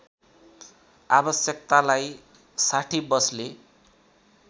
आवश्यकतालाई ६० बसले